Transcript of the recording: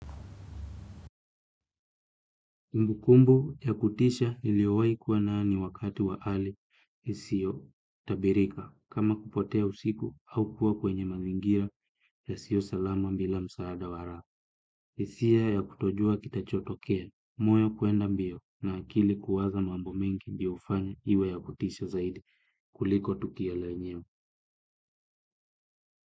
Mbukumbu ya kutisha niliowai kuwa nayo ni wakati wa ali isio tabirika kama kupotea usiku au kuwa kwenye mazingira yasio salama mbila msaada wara. Isia ya kutojua kitachotokea, moyo kwenda mbio na akili kuwaza mambo mengi ndio ufanya iwe ya kutisha zaidi kuliko tukio lanyeo.